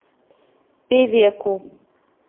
певеку